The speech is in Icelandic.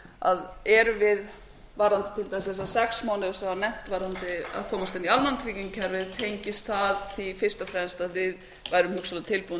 við til dæmis varðandi þessa sex mánuði sem voru nefndir varðandi að komast inn í almannatryggingakerfið tengist það fyrst og fremst til að við værum hugsanlega tilbúnir